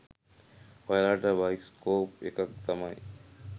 ඔයාලට බයිස්කෝප් එකක් තමයි